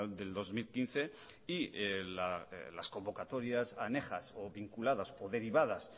del dos mil quince y las convocatorias anejas o vinculadas o derivadas